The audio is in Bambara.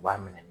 U b'a minɛ